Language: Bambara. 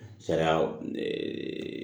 Sariya